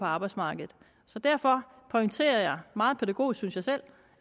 arbejdsmarkedet derfor pointerer jeg meget pædagogisk synes jeg selv